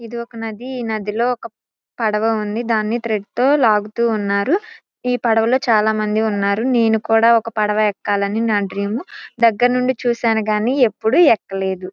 ఇది ఒక నది ఈ నది లో ఒక పడవ ఉంది దాన్ని థ్రెడ్ తో లాగుతూ ఉన్నారు ఈ పడవ లో చాలా మంది ఉన్నారు నేను కూడా ఒక పడవ ఎక్కాలని నా డ్రీము దగ్గర నుండి చూసాను గాని ఎప్పుడు ఎక్కలేదు.